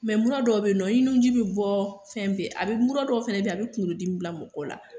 mura dɔw bɛyinɔ i nuji bɛ bɔ fɛn bɛɛ a bɛ muru dɔw fana beyi a bɛ kunkolodimi bila mɔgɔ la.